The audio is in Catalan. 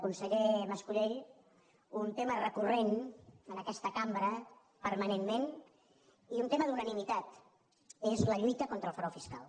conseller mas colell un tema recurrent en aquesta cambra permanentment i un tema d’unanimitat és la lluita contra el frau fiscal